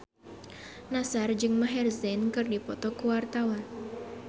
Nassar jeung Maher Zein keur dipoto ku wartawan